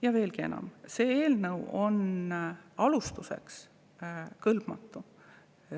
Ja veelgi enam: see eelnõu on alustuseks kõlbmatu.